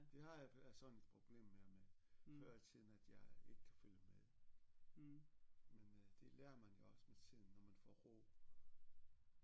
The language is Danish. Det har jeg sådan et problem mere med før i tiden at jeg ikke kan følge med men øh det lærer man jo også med tiden når man får ro